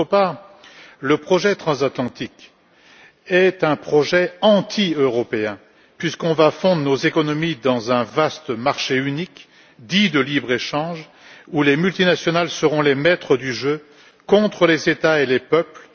En outre, le projet transatlantique est un projet anti européen puisqu'il va fondre nos économies dans un vaste marché unique dit de libre échange, où les multinationales seront les maîtres du jeu, contre les États et les peuples.